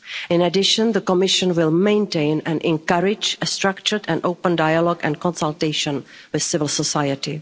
In addition, the Commission will maintain and encourage a structured and open dialogue and consultation with civil